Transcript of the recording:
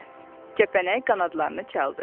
Kəpənək qanadlarını çaldı.